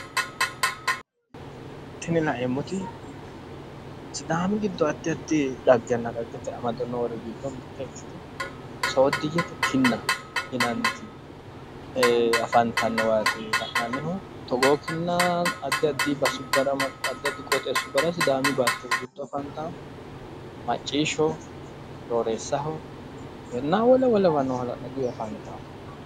Tini laeemmoti sidaamu giddo addi addi dhaggenna dhaggete amado noori giddo mitte ikkitinnoti sooddiyyete kinna yinanniti afantannowaati la'nannihu. Togoo kinna addi addi basubbara addi addi qooxeessubbara sidaami baatto giddo afantawo. Macciishsho , horooreessaho, wole wolewano hala'laduyi afantawo .